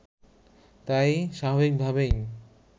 তাই স্বাভাবিকভাবেই